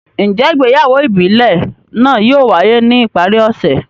Njẹ ìgbéyàwó ìbílè naa yóò waye ni ipari ọsẹ yii?